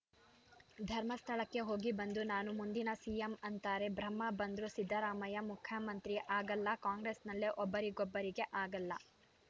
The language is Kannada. ಧರ್ಮಸ್ಥಳಕ್ಕೆ ಹೋಗಿ ಬಂದು ನಾನು ಮುಂದಿನ ಸಿಎಂ ಅಂತಾರೆ ಬ್ರಹ್ಮ ಬಂದ್ರೂ ಸಿದ್ದರಾಮಯ್ಯ ಮುಖ್ಯಮಂತ್ರಿ ಆಗಲ್ಲ ಕಾಂಗ್ರೆಸ್‌ನಲ್ಲೇ ಒಬ್ಬರಿಗೊಬ್ಬರಿಗೆ ಆಗಲ್ಲ